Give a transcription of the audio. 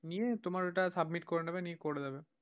নিয়ে তোমার ওটা submit করে নেবে নিয়ে করে দেবে।